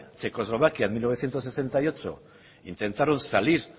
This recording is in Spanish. checoslovaquia en mil novecientos sesenta y ocho intentaron salir